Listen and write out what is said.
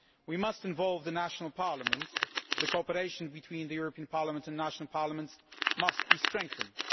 We must involve the national parliaments and cooperation between the European Parliament and national parliaments must be strengthened.